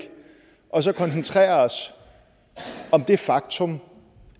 og så koncentrere os om det faktum